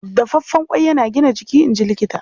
Dafaffen ƙwai yana gina jiki, in ji Likita.